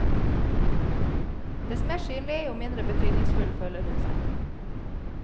Dess mer synlig, jo mindre betydningsfull føler hun seg.